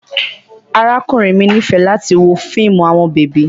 Arakunrin mi nifẹ lati wo fiimu awọn bebi